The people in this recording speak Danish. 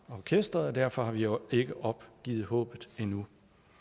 orkestret og derfor har vi jo ikke opgivet håbet endnu